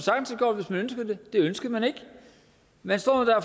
elleve med